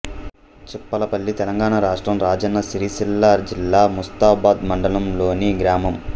చిప్పలపల్లి తెలంగాణ రాష్ట్రం రాజన్న సిరిసిల్ల జిల్లా ముస్తాబాద్ మండలంలోని గ్రామం